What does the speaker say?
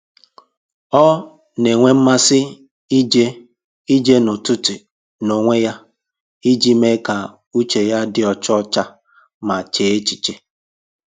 Ọ na-enwe mmasị ije ije n'ụtụtụ n'onwe ya iji mee ka uche ya dị ọcha ọcha ma chee echiche